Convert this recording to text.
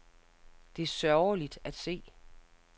Det er sørgeligt at se.